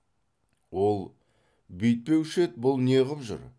ол бүйтпеуші еді бұл неғып жүр